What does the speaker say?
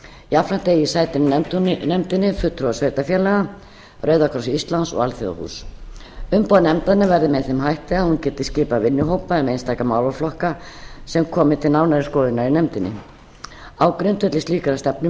jafnframt eigi sæti í nefndinni fulltrúar sveitarfélaga rauða kross íslands og alþjóðahúss umboð nefndarinnar verði með þeim hætti að hún geti skipað vinnuhópa um einstaka málaflokka sem komi til nánari skoðunar hjá nefndinni á grundvelli slíkrar